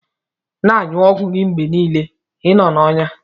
Na anyu ogwụ gi mgbe nile inọ na ọya.